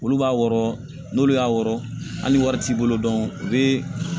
Olu b'a wɔrɔ n'olu y'a wɔrɔ hali wari t'i bolo u bɛ